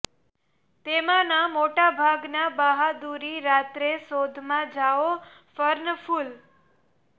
તેમાંના મોટા ભાગના બહાદુરી રાત્રે શોધ માં જાઓ ફર્ન ફૂલ